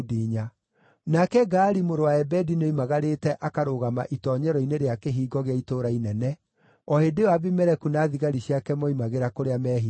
Nake Gaali mũrũ wa Ebedi nĩoimagarĩte akarũgama itoonyero-inĩ rĩa kĩhingo gĩa itũũra inene, o hĩndĩ ĩyo Abimeleku na thigari ciake moimagĩra kũrĩa meehithĩte.